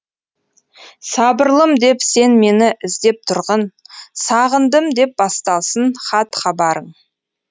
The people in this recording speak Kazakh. сабырлым деп сен мені іздеп тұрғын сағындым деп басталсын хат хабарың